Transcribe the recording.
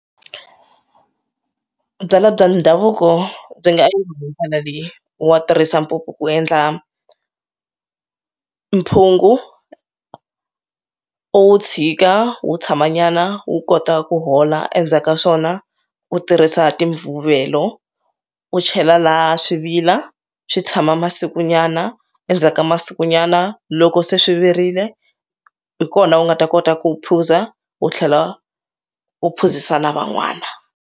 Byalwa bya ndhavuko byi nga leyi wa tirhisa mpupu ku endla mphungu u tshika wo tshama nyana wu kota ku hola endzhaku ka swona u tirhisa ti mvuvelo u chela laha swivika swi tshama masiku nyana endzhaku ka masiku nyana loko se swi virile hi kona u nga ta kota ku u phuza u tlhela u phuzisa na van'wana.